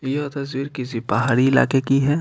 यह तस्वीर किसी बाहरी इलाके की है।